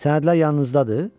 Sənədlər yanınızdadır?